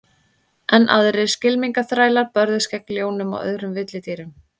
Enn aðrir skylmingaþrælar börðust gegn ljónum og öðrum villidýrum.